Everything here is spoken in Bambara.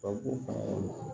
Ka ko